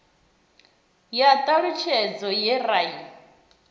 ya ṱhalutshedzo ye ra i